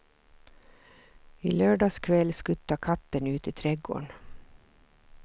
I lördags kväll skuttade katten ut i trädgården.